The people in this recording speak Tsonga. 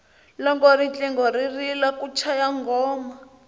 loko riqingho ri rila ku chaya nghoma